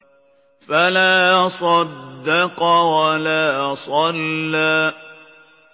فَلَا صَدَّقَ وَلَا صَلَّىٰ